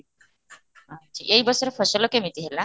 ଆଚ୍ଛା ଏ ବର୍ଷର ଫସଲ କେମିତି ହେଲା?